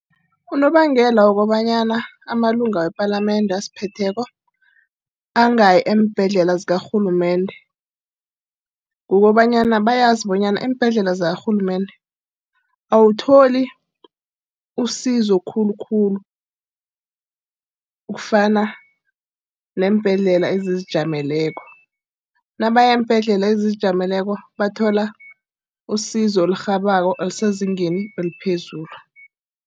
Unobangela wokobanyana amalunga wepalamende asiphetheko angayi eembhedlela zakarhulumende. Ukukobanyana bayazi bonyana eembhedlela zakarhulumende awutholi isizo khulukhulu. Ukufana neembhedlela ezizijameleko. Nabaya eembhedlela ezizijameleko bathola usizo elirhabako elisezingeni eliphezulu.